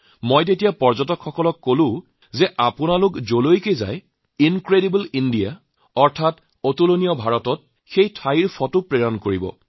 মই যেতিয়া পৰ্যটকসকলক কওঁ যে আপোনালোকে ইনক্ৰেডিবল Indiaত যলৈকে গৈছে তাৰ ফটো পঠাব